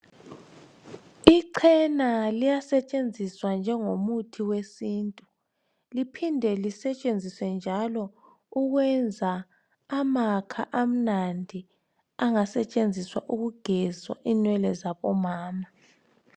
Ichena liyasetshenziswa njengomuthi wesintu liphinde lisetshenziswe njalo ukwenza amakha amnandi angasetshenziswa ukugezwa inwele zabomama.